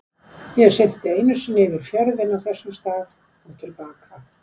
Ég synti einu sinni yfir fjörðinn frá þessum stað og til baka.